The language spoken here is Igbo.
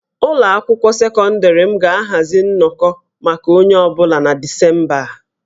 Ụlọ akwụkwọ sekọndịrị m ga-ahazi nnọkọ maka onye ọ bụla na Disemba a